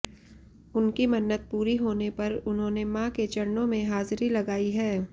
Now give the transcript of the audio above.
उनकी मन्नत पूरी होने पर उन्होंने मां के चरणों में हाजरी लगाई है